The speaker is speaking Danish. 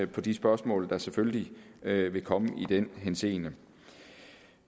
på de spørgsmål der selvfølgelig vil komme i den henseende